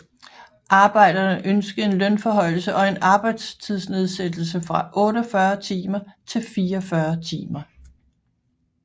Arbejderne ønskede en lønforhøjelse og en arbejdstidsnedsættelse fra 48 timer til 44 timer